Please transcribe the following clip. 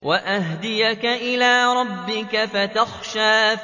وَأَهْدِيَكَ إِلَىٰ رَبِّكَ فَتَخْشَىٰ